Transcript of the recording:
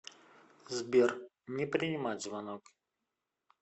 сбер не принимать звонок